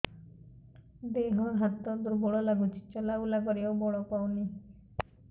ଦେହ ହାତ ଦୁର୍ବଳ ଲାଗୁଛି ଚଲାବୁଲା କରିବାକୁ ବଳ ପାଉନି